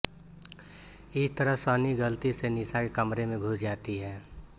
इस तरह सनी गलती से निशा के कमरे में घुस जाती है